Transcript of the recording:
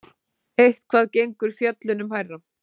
Eitthvað gengur fjöllunum hærra